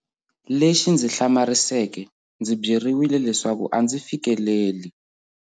Lexi ndzi hlamariseke, ndzi byeriwile leswaku a ndzi fikeleli.